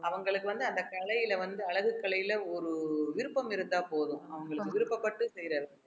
அவங்களுக்கு வந்து அந்த கலையில வந்து அழகு கலையில ஒரு விருப்பம் இருந்தா போதும் அவங்களுக்கு விருப்பப்பட்டு செய்யறது